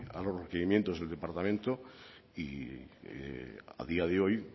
a los requerimientos del departamento y a día de hoy